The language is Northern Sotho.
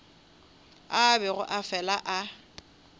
a bego a fela a